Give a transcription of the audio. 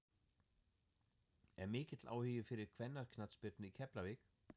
Er mikill áhugi fyrir kvennaknattspyrnu í Keflavík?